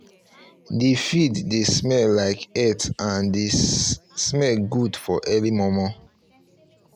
the field dey smell like earth and the smell good for early momo